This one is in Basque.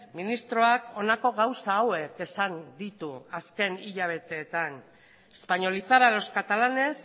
ministroak honako gauza hauek esan ditu azken hilabeteetan españolizar a los catalanes